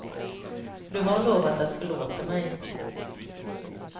Du har lovat att förlåta mig.